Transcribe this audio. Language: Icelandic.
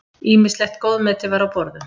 Ýmislegt góðmeti var á borðum.